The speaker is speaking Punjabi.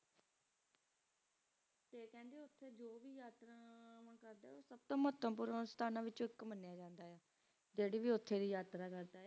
ਸਬ ਤੋਂ ਮਹਾਤਾਵ੍ਪੋਰਾਂ ਅਸਥਾਨਾਂ ਵਿਚ ਮਾਨ੍ਯ ਜਾਂਦਾ ਆਯ ਆ ਜੇਰਾ ਵੀ ਓਥੇ ਦੀ ਯਾਤਰਾ ਕਰਦਾ ਆਯ ਆ